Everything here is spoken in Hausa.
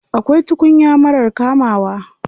Akwai tukuya marar kamawa.